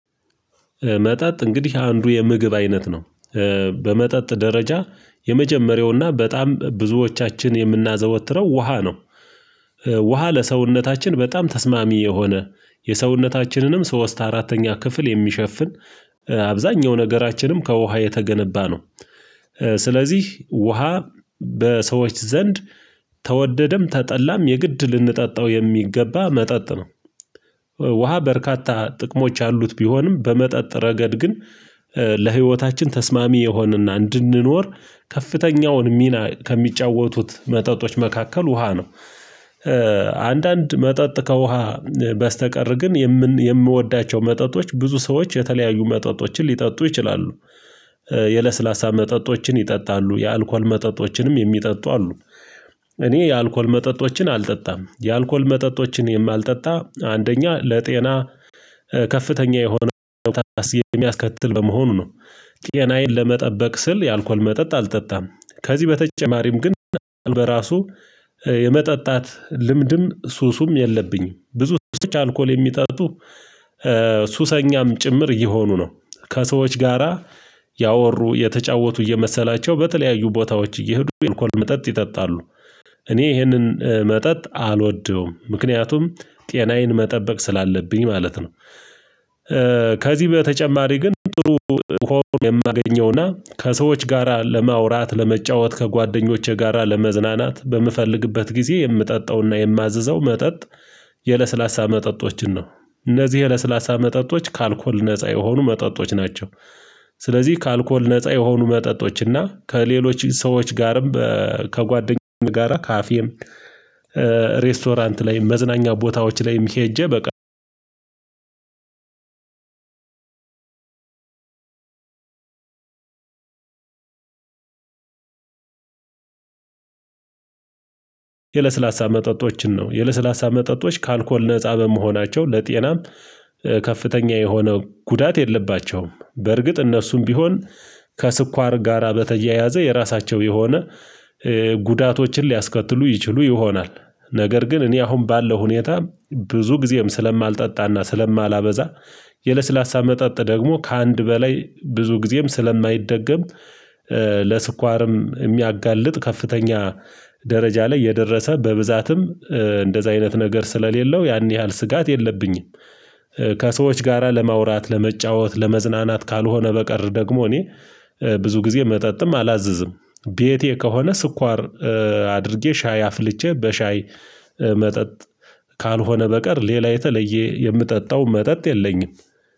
መጠጥ እንግዲህ አንዱ የምግብ አይነት ነው በመጠጥ ደረጃ የመጀመሪያውና በጣም ብዙዎቻችን የምናዘወትረው ውሃ ነው። ውሃ ለሰውነታችን በጣም ተስማሚ የሆነ የሰውነታችንንም ሶስት አራተኛ ክፍል የሚሸፍን አብዛኛው ነገራችንም ከውሃ የተገነባ ነው ስለዚህ ውሃ በሰዎች ዘንድ ተወደደም ተጠላም የግድ ልንጠጣው የሚገባ መጠጥ ነው። ውሃ በርካታ ጥቅሞች አሉት ቢሆንም በመጠጥ ረገድ ግን ለህይወታችን ተስማሚ የሆንና እንድንኖር ከፍተኛውን ሚና ከሚጫወቱት መጠጦች መካከል ውሃ ነው። አንዳንድ መጠጥ ከውሃ በስተቀር ግን የምወዳቸው መጠጦች ብዙ ሰዎች የተለያዩ መጠጦችን ሊጠጡ ይችላሉ። የለስላሳ መጠጦችን ይጠጣሉ የአልኮል መጠጦችንም የሚጠጡ አሉ። እኔ የአልኮል መጠጦችን አልጠጣም የአልኮል መጠጦችን የማልጠጣ አንደኛ ለጤና ከፍተኛ የሆነ የሚያስከትል በመሆኑ ነው ጤናዬን ለመጠበቅ ስል የአልኮል መጠጥ አልጠጣም። ከዚህ በተጨማሪም ግን በራሱ የመጠጣት ልምድም ሱስም የለብኝም። ብዙ ሰዎች አልኮል የሚጠጡ ሱሰኛም ጭምር እየሆኑ ነው ከሰዎች ጋራ ያወሩ የተጫወቱ እየመሰላቸው በተለያዩ ቦታዎች እየሄዱ አልኮል መጠጥ ይጠጣሉ። እኔ ይህንን መጠጥ አልወደውም ምክንያቱም ጤናዬን መጠበቅ ስላለብኝ ማለት ነው። ከዚህ በተጨማሪ ግን ጥሩ ሆኖ የማገኘውና ከሰዎች ጋራ ለማውራት ለመጫወት ከጓደኞቼ ጋራ ለመዝናናት በምፈልግበት ጊዜ የምጠጣውና የማዘዘው መጠጥ የለስላሳ መጠጦችን ነው። እነዚህ የለስላሳ መጠጦች ከአልኮል ነፃ የሆኑ መጠጦች ናቸው። ስለዚህ ከአልኮል ነፃ የሆኑ መጠጦች እና ከሌሎች ሰዎች ጋርም ከጓደኛው ጋራ ከአፌም ሬስቶራንት ላይ መዝናኛ ቦታዎች ላይም ሄጄ በቃ። የለስላሳ መጠጦችን ነው የለስላሳ መጠጦች ከአልኮል ነፃ በመሆናቸው ለጤናም ከፍተኛ የሆነ ጉዳት የለባቸውም። በርግጥ እነሱም ቢሆን ከስኳር ጋራ በተያያዘ የራሳቸው የሆነ ጉዳቶችን ሊያስከትሉ ይችሉ ይሆናል ነገር ግን እኔ አሁን ባለው ሁኔታ ብዙ ጊዜም ስለማልጠጣና ስለማላበዛ። የለስላሳ መጠጥ ደግሞ ከአንድ በላይ ብዙ ጊዜም ስለማይደገም ለስኳርም የሚያጋልጥ ከፍተኛ ደረጃ ላይ የደረሰ በብዛትም እንደዛ አይነት ነገር ስለሌለው ያን ያህል ስጋት የለብኝም። ከሰዎች ጋራ ለማውራት ለመጫወት ለመዝናናት ካልሆነ በቀር ደግሞ እኔ ብዙ ጊዜ መጠጥም አላዘዝም። ቤቴ ከሆነ ስኳር አድርጌ ሻይ አፍልቼ በሻይ መጠጥ ካልሆነ በቀር ሌላ የተለየ የምጠጣው መጠጥ የለኝም